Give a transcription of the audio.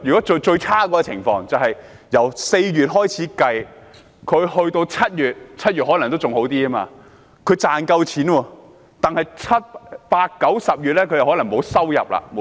最差的情況是，他們可能在4月至7月 ——7 月情況可能還好一點——能賺到錢，但7月至10月沒有收入。